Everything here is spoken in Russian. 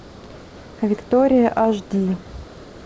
виктория аш ди